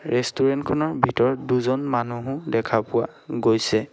Restaurant খনৰ ভিতৰত দুজন মানুহো দেখা পোৱা গৈছে।